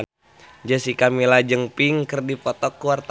Jessica Milla jeung Pink keur dipoto ku wartawan